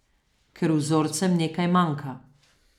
Ker vzorcem nekaj manjka.